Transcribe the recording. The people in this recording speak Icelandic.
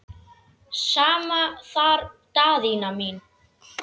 Sama þar Daðína mín.